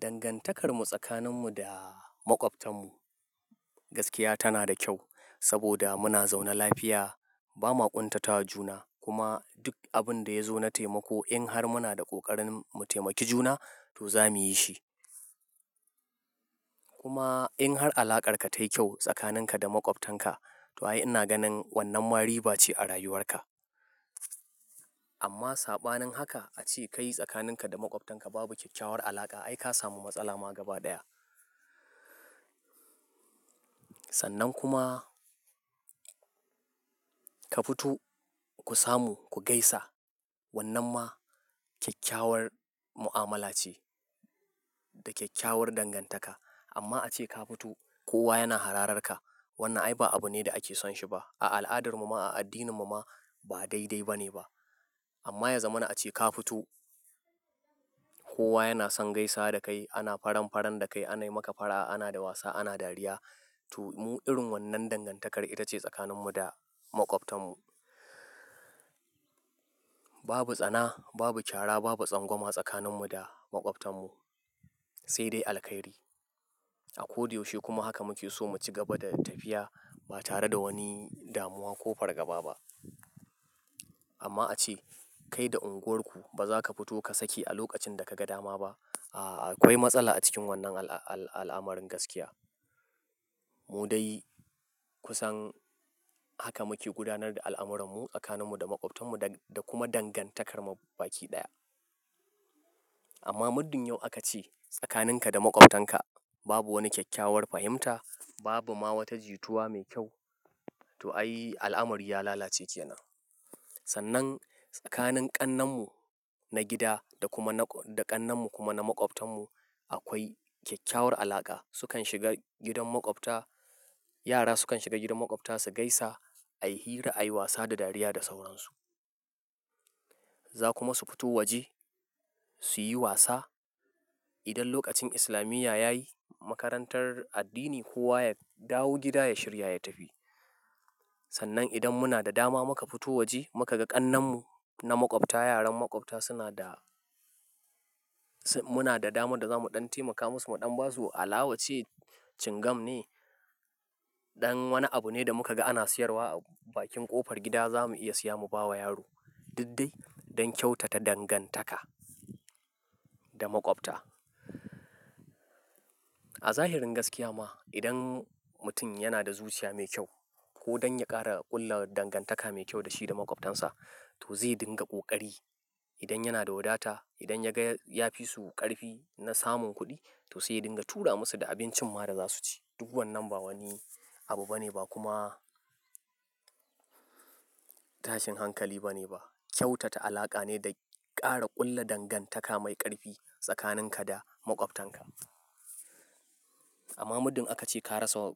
Dangantakarmu tsakaninmu da maƙwabtanmu gaskiya tana da kyau saboda muna zaune lafiya, ba ma ƙuntatawa juna. Kuma duk abin da ya zo na taimako in har muna da ƙoƙarin mu taimaki juna to za mu yi shi. Kuma in har alaƙarka tayi kyau tsakaninka da maƙwabtanka to ai ina ganin wannan ma riba ce a rayuwarka. Amma saɓanin haka ace kai tsakaninka da maƙwabtanka babu ƙyakkyawar alaƙa ai ka samu matsala ma gaba ɗaya. Sannan kuma ka fito ku samu ku gaisa wannan ma ƙyakkyawar mu'amala ce da ƙyakkyawar dangantaka. Amma ace ka fito kowa yana harararka wannan ai ba abu ne da ake son shi ba. A al'adarmu ma, a addininmu ma ba daidai ba ne ba. Amma ya zamana ace ka fito kowa yana son gaisa dakai ana faran-faran dakai anayi maka fara'a ana da wasa ana dariya to mu irin wannan dangantakar ita ce tsakaninmu da maƙwabtanmu. Babu tsana, babu ƙyara, babu tsangwama tsakaninmu da maƙwabtanmu sai dai alkhairi. A ko da yaushe kuma haka muke so mu ci gaba da tafiya ba tare da wani damuwa ko fargaba ba. Amma ace kai da unguwarku ba za ka fito ka sake a lokacin da ka ga dama ba a, akwai matsala a cikin wannan al'amarin gaskiya. Mu dai kusan haka muke gudanar da al'amurarmu tsakaninmu da maƙwabtanmu da kuma dangantakar mu baki ɗaya. Amma muddin yau aka ce tsakaninka da maƙwabtanka babu wani ƙyakkyawar fahimta babu ma wata jituwa mai kyau to ai al'amari ya lalace kenan. Sannan tsakanin ƙannenmu na gida da kuma na da ƙannenmu kuma na maƙwabtanmu akwai ƙyakkyawar alaƙa. Su kan shiga gidan maƙwabta, yara su kan shiga gidan maƙwabta su gaisa ayi hira ayi wasa da dariya da sauransu. Za ku ma su fito waje suyi wasa. Idan lokacin islamiya yayi makarantar addini kowa ya dawo gida ya shirya ya tafi. Sannan idan muna da dama muka fito waje muka ga ƙannenmu na maƙwabta yaran maƙwabta suna da-- muna da dama da za mu ɗan taimaka musu, mu ɗan basu alawa ce cingam ne. Ɗan wani abu ne da muka ga ana siyarwa a bakin ƙofar gida za mu iya siya mu bawa yaro. Duk dai don kyautata dangantaka da maƙwabta. A zahirin gaskiya ma idan mutum yana da zuciya mai kyau ko don ya ƙara ƙulla dangantaka mai kyau da shi da maƙwabtansa to zai dinga ƙoƙari. Idan yana da wadata, idan ya ga ya fisu ƙarfi na samun kuɗi to sai dinga tura musu da abincin ma da za su ci. Duk wannan ba wani abu ba ne ba kuma tashin hankali ba ne ba. Kyautata alaƙa ne da ƙara ƙulla dangantaka mai ƙarfi tsakaninka da maƙwabtanka. Amma muddin aka ce ka rasa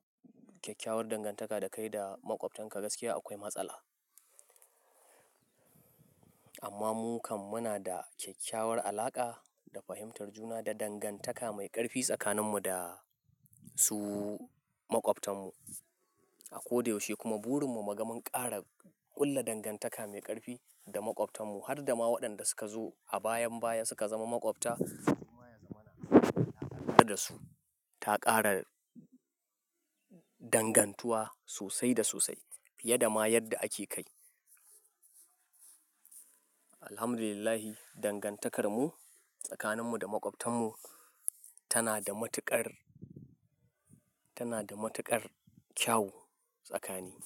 ƙyakkyawar dangantaka dakai da maƙwabtanka gaskiya akwai matsala. Amma mu kam muna da ƙyakkyawar alaƙa, da fahimtar juna, da dangantaka mai ƙarfi tsakaninmu da su maƙwabtanmu. A ko da yaushe kuma burin mu muga mun ƙara ƙulla dangantaka mai ƙarfi da maƙwabtanmu har da ma waɗanda suka zo a bayan baya suka zama maƙwabta kuma ya zamana da su ta ƙara dangantuwa sosai da sosai fiye da ma yadda ake kai. Alhamdulillahi dangantakarmu tsakaninmu da maƙwabtanmu tana da matuƙar, tana da matuƙar kyau tsakani.